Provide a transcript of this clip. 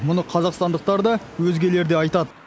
мұны қазақстандықтар да өзгелер де айтады